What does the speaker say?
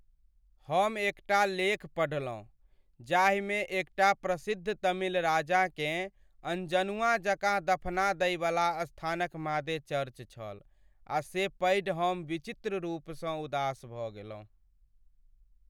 हम एकटा लेख पढ़लहुँ जाहिमे एकटा प्रसिद्ध तमिल राजाकेँ अनजनुआ जकाँ दफना दइवला स्थानक मादे चर्च छल आ से पढ़ि हम विचित्र रूपसँ उदास भऽ गेलहुँ ।